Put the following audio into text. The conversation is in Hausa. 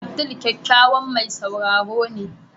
Abdul kyakkyawan mai sauraro ne.